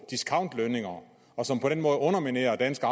discountlønninger og som på den måde underminerer danske